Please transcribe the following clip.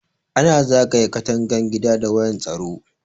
Ana zagaye katangan gida da wayan tsaro.